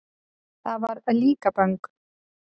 Það var Líkaböng.